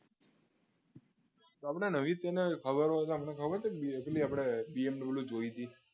આપણે નવી ને ખબર હોય તો એમને ખબર છે આપણે એટલી આપણે BMW જોઈતી